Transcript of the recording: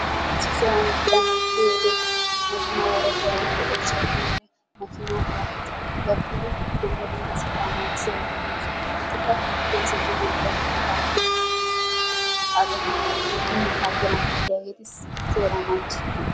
issisan danoy kiyyiyoode dumma dumma ooshshay woykko warettay kiyyiyo wode, makina terafikke adagati gakkiyoode dumma dumma seeraa naaggissiyaageeti de'oosona. hegeetikka polisseta malatiyaageeta, tiraafikketa malatiyaageet, taxxaqqeta malatiyaageeta, wottadara malatiyaageeti seera nanggissosona.